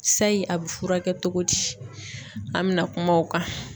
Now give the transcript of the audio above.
Sayi a bɛ furakɛ togo di an bɛna kuma o kan.